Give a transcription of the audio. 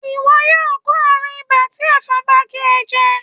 iwọ yóò kó arún ìbá ti efòn bá gé e jè.